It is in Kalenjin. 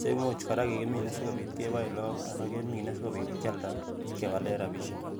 cheimuch kora kikimine asikobit keboen lagook anan kemine asikobit kyalda ak kewalen rapisiek